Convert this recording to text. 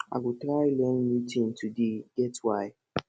i go try learn new tin today e get why